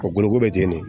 Ka boloko bɛ ten de